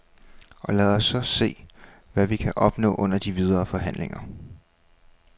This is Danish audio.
Og lad os så se, hvad vi kan opnå under de videre forhandlinger.